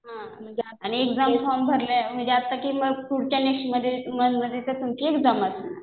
हा आणि exam form भरले आता कि मग पुढच्या नेक्स्ट मन्थमध्ये तर तुमची एक्झाम असेल.